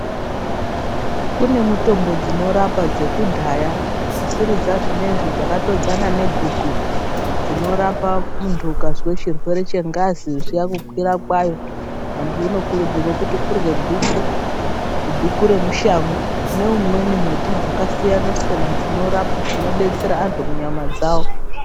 Kune mutombo dzinorapa dzekudhaya, dzisiri dzazvinoizvi dzakatodzana neguku. Dzinorapa muntu ukazwe chirwere chengazi zviya kukwira kwayo. Antu unokurudzirwe kurudzirwa kuti urye guku. Guku remushango, neumweni muti dzakasiyana-siyana dzinorapa, dzinobetsera antu munyama dzavo.